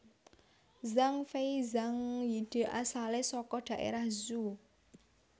Zhang Fei Zhang Yide asalé saka daerah Zhuo